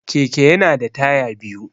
Keke yana da taya biyu.